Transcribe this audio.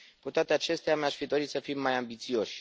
Cu toate acestea, mi aș fi dorit să fim mai ambițioși.